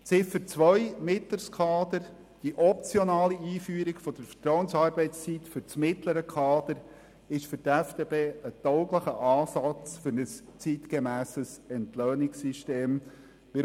Betreffend Ziffer 2 ist die optionale Einführung der Vertrauensarbeitszeit fürs mittlere Kader aus Sicht der FDP für ein zeitgemässes Entlöhnungssystem tauglich.